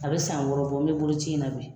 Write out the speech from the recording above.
A bɛ san wɔɔrɔ bɔ n bɛ bolo ci in na bi.